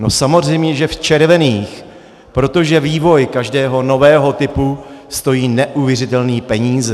No samozřejmě že v červených, protože vývoj každého nového typu stojí neuvěřitelné peníze.